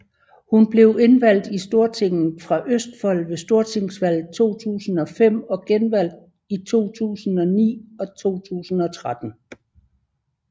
Hun blev indvalgt i Stortinget fra Østfold ved stortingsvalget i 2005 og genvalgt i 2009 og 2013